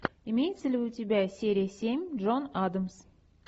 имеется ли у тебя серия семь джон адамс